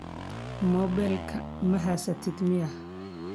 Moobel maxasatidh miyaa.